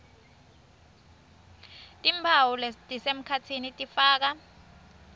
timphawu lesisemkhatsini tifaka